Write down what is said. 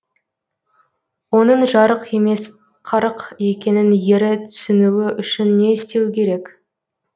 оның жарық емес қарық екенін ері түсінуі үшін не істеуі керек